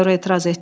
Mayor etiraz etdi.